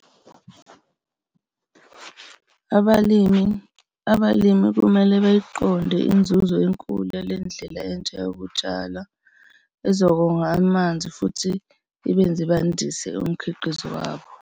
Abalimi, abalimi kumele bayiqonde inzuzo enkulu yale ndlela entsha yokutshala ezokonga amanzi futhi ibenze bandise umkhiqizo wabo.